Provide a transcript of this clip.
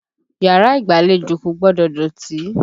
Yàrá ìgbàlejò kò gbọdọ̀ dọ̀tí.